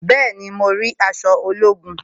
Bẹẹni, mo rí aṣọ ológun